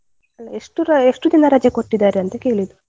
ಅಲ್ಲ ಎಷ್ಟು ರ, ಅಲ್ಲ ಎಷ್ಟು ದಿನ ರಜೆ ಕೊಟ್ಟಿದ್ದಾರೆ ಅಂತ ಕೇಳಿದ್ದು?